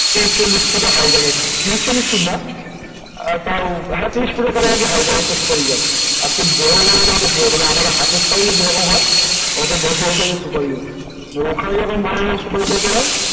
তিরিশ চল্লিশ foot height হয় এক এক জায়গায় তিরিশ চল্লিশ ফুট না তাও তিরিশ ফুটের কাছাকাছি height এক একটা সুপারি গাছ আমাদের হাতের size যে রকম হয় অত বড় বড় size র সুপারি গাছ ওখানে যেমন বড় বড় সুপারি গাছ হয় ।